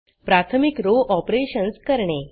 प्राथमिक rowरो ऑपरेशन्स करणे